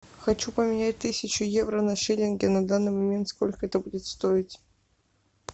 хочу поменять тысячу евро на шиллинги на данный момент сколько это будет стоить